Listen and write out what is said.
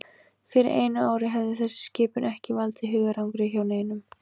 Fyrir einu ári hefði þessi skipun ekki valdið hugarangri hjá neinum.